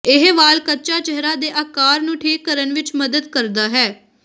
ਇਹ ਵਾਲ ਕੱਚਾ ਚਿਹਰਾ ਦੇ ਆਕਾਰ ਨੂੰ ਠੀਕ ਕਰਨ ਵਿਚ ਮਦਦ ਕਰਦਾ ਹੈ